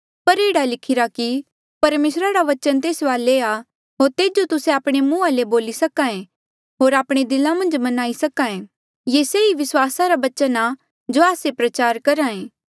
पर एह्ड़ा लिखिरा कि परमेसरा रा वचन तेरे वाले आ होर तेजो तुस्से आपणे मुंहा ले बोली सके होर आपणे दिला मन्झ मन्हां ईं सके ये से ई विस्वासा रा बचन आ जो आस्से प्रचार करहा ऐें